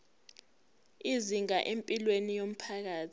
izinkinga empilweni yomphakathi